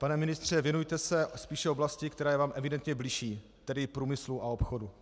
Pane ministře, věnujte se spíše oblasti, která je vám evidentně bližší, tedy průmyslu a obchodu.